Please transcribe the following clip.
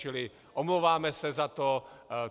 Čili omlouváme se za to.